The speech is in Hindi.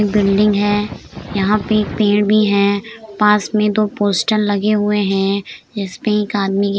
बिल्डिंग है। यहाँ पे एक पेड़ भी है। पास में दो पोस्टर लगे हुए हैं। इसमें एक आदमी की --